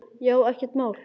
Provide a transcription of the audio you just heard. Já, ekkert mál!